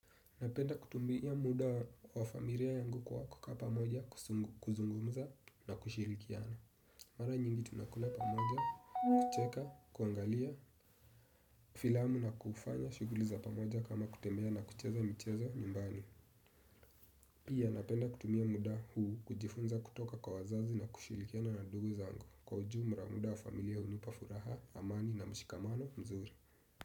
Napenda kutumia muda wa familia yangu kwa kukaa pamoja, kuzungumza na kushirikiana. Mara nyingi tunakula pamoja, kucheka, kuangalia, filamu na kufanya, shuguli za pamoja kama kutembea na kucheza michezo nyumbani. Pia napenda kutumia muda huu kujifunza kutoka kwa wazazi na kushirikiana na ndugu zangu. Kwa ujumla muda wa familia hunipa furaha, amani na mshikamano mzuri.